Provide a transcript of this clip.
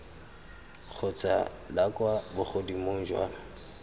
kgotsa la kwa bogodimong jwa